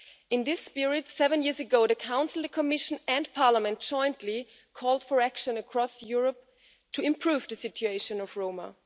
In this spirit, seven years ago, the Council, the Commission and Parliament jointly called for action across Europe to improve the situation of Roma.